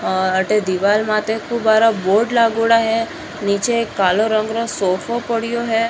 अठे दीवार माते खूब बारा बोर्ड लागोडा है नीचे एक कालो रंग रो सोफो पड़ियो है।